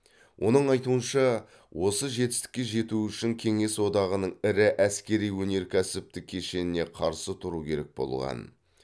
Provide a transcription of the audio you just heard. оның айтуынша осы жетістікке жету үшін кеңес одағының ірі әскери өнеркәсіптік кешеніне қарсы тұру керек болған